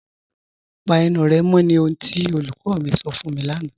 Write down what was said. Pà ènù rẹ mọ̀ ní ohun tí olúkọ̀ mi sọ̀ fún mi lánà.